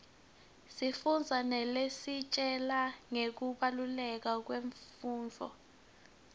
sifundza naletisitjela ngekubaluleka kwemfundvo